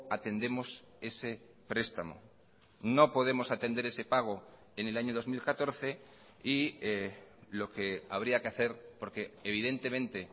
atendemos ese prestamo no podemos atender ese pago en el año dos mil catorce y lo que habría que hacer porque evidentemente